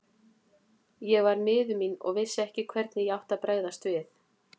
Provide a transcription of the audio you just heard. Ég var miður mín og vissi ekki hvernig ég átti að bregðast við.